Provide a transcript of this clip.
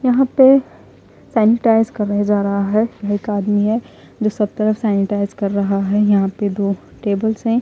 यहाँ पर सेनेटाइज करे जा रहां है एक आदमी है जो सब तरफ सेनेटाइज कर रहा है यहाँ पर दो टेबल्स है।